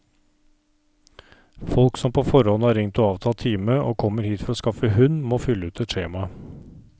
Folk som på forhånd har ringt og avtalt time, og kommer hit for å skaffe hund, må fylle ut et skjema.